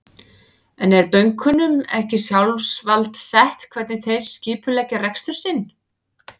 En er bönkunum ekki sjálfsvald sett hvernig þeir skipuleggja rekstur sinn?